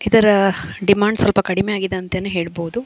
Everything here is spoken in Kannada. ಇದರ ಡಿಮಾಂಡ್ಸ್ ಸ್ವಲ್ಪ ಕಡಿಮೆ ಆಗಿದೆ ಅಂತನೆ ಹೇಳಬಹುದು.